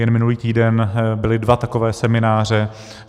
Jen minulý týden byly dva takové semináře.